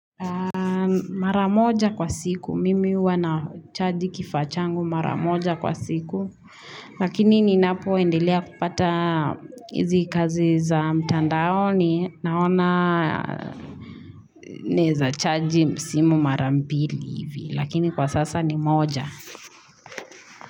Mara moja kwa siku, mimi huwa nachaji kifaa changu mara moja kwa siku Lakini ninapoendelea kupata hizi kazi za mtandaoni Naona naeza chaji simu mara mbili hivi Lakini kwa sasa ni moja.